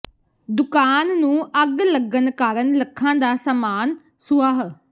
ਦੁਕਾਨ ਨੂੰ ਅੱਗ ਲੱਗਣ ਕਾਰਣ ਲੱਖਾਂ ਦਾ ਸਾਮਾਨ ਸੁਆਹ